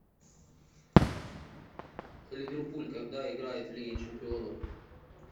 ливерпуль когда играет в лиге чемпионов